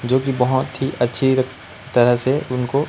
जो की बहोत ही अच्छी तरह से उनको--